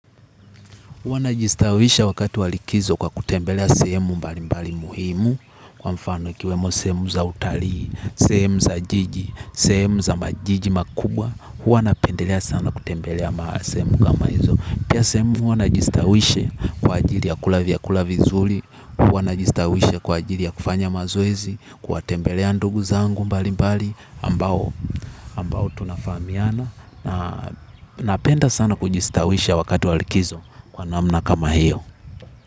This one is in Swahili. Huwa najistawisha wakati walikizo kwa kutembelea semu mbali mbali muhimu. Kwa mfano ikiwemo semu za utalii, semu za jiji, semu za majiji makubwa huwa na pendelea sana kutembelea maasemu kama hizo. Pia semu huwa na jistawisha kwa ajili ya kula vyakula vizuli. Huwa na jistawisha kwa ajili ya kufanya mazoezi. Kwa tembelea ndugu zangu mbali mbali ambao tunafamiana na napenda sana kujistawisha wakati walikizo kwa namna kama hiyo.